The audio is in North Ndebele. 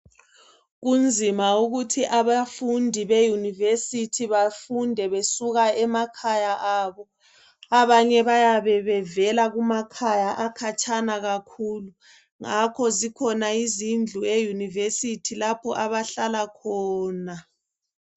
Kunzima ukuthi abafundi be university bafunde bevela emakhaya abo .Abanye bayabe befunda bevela kumakhaya akhatshana kakhulu . Ngakho zikhona izindlu lapho abayabe behlala khona.